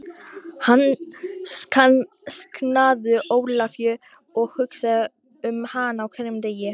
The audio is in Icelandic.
Hann sknaðu Ólafíu og hugsaði um hana á hverjum degi.